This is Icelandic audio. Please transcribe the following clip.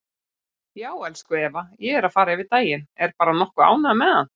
Já, elsku Eva, ég er að fara yfir daginn, er bara nokkuð ánægður með hann.